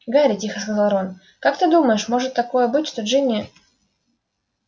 гарри тихо сказал рон как ты думаешь может такое быть что джинни